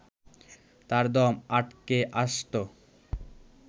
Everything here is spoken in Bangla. তার দম আটকে আসত